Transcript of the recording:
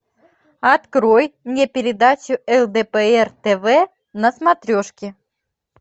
открой мне передачу лдпр тв на смотрешке